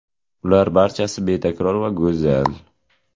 Ular barchasi betakror va go‘zal.